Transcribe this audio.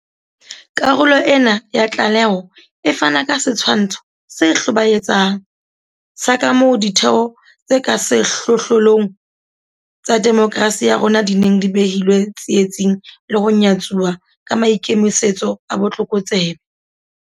Karolo ena ya tlaleho e fana ka setshwantsho se hlobaetsang sa kamoo ditheo tse ka sehlohlolong tsa demokerasi ya rona di neng di behilwe tsietsing le ho nyatsuwa ka maikemisetso a botlokotsebe.